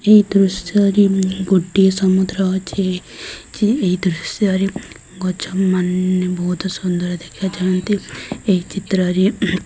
ଏଇ ଦୃଶ୍ୟ ରେ ଗୋଟିଏ ସମୁଦ୍ର ଅଛି ଏଇ ଦୃଶ୍ୟ ରେ ଗଛ ମାନେ ବହୁତ ସୁନ୍ଦର ଦେଖାଯାନ୍ତି ଏହି ଚିତ୍ର ରେ --